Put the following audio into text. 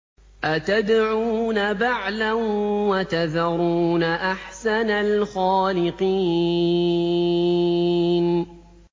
أَتَدْعُونَ بَعْلًا وَتَذَرُونَ أَحْسَنَ الْخَالِقِينَ